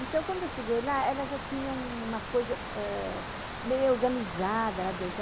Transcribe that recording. Então, quando eu cheguei lá, ela já tinha uma coisa meio organizada lá dentro.